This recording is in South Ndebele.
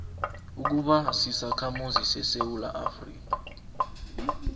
ukuba sisakhamuzi sesewula